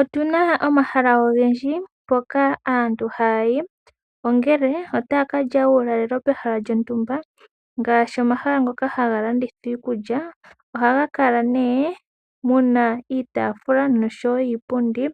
Otuna omahala ogendji mpoka aantu haya yi. Ongele otaya kalya uulalelo pehala lyontumba ngaashi omahala ngoka hanga landitha iikulya. Oha ga kala muna nee iitafula noshowo iipundi